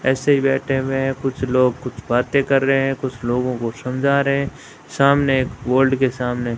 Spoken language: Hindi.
ऐसे ही बैठे हुए है कुछ लोग कुछ बाते कर रहे है कुछ लोगों को समझा रहे है सामने एक वोल्ड के सामने।